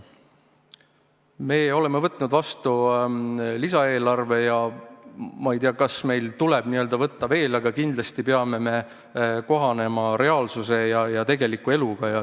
Me oleme võtnud vastu lisaeelarve ja ma ei tea, kas meil tuleb neid veel vastu võtta, aga kindlasti peame me kohanema reaalsuse ja tegeliku eluga.